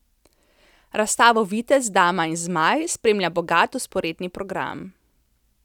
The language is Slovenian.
Razstavo Vitez, dama in zmaj spremlja bogat vzporedni program.